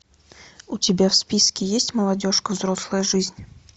у тебя в списке есть молодежка взрослая жизнь